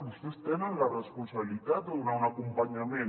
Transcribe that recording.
vostès tenen la responsabilitat de donar un acompanyament